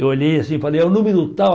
Eu olhei assim e falei, é o número tal.